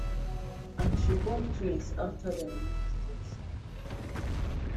and she born twins afta dem lose dia son ifeanyi